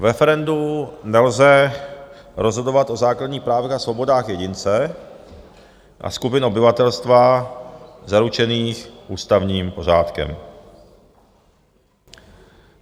V referendu nelze rozhodovat o základních právech a svobodách jedince a skupin obyvatelstva zaručených ústavním pořádkem.